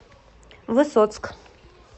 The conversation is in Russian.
высоцк